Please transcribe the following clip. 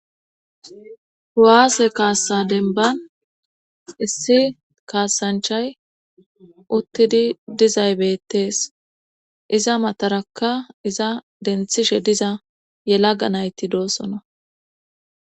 Kuwaase kaassa denban issi kaassanchay uttidi dizay bettees iza matarakka iza denthishe diza yelaga nayti doosona.